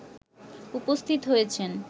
উপস্থিত হয়েছেন